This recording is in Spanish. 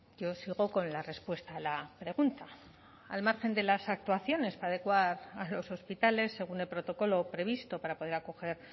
yo sigo con la respuesta a la pregunta al margen de las actuaciones adecuadas a los hospitales según el protocolo previsto para poder acoger